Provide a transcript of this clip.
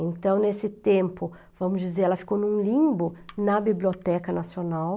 Então, nesse tempo, vamos dizer, ela ficou em um limbo na Biblioteca Nacional.